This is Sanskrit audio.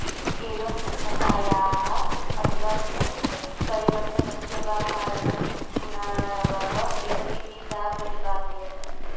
एवं भिन्नातायाः अथवा उत्परिवर्तनस्य वा कारणं गुणाणवः एव इति सा प्रतिपादयत्